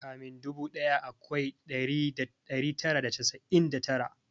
Kamin dubu daya akwai dari tara da casa'in da tara